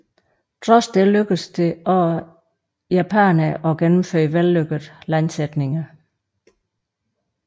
Trods det lykkedes det også japanerne at gennemføre vellykkede landsætninger